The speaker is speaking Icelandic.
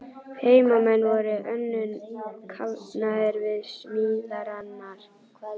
Heimamenn voru önnum kafnir við smíðarnar.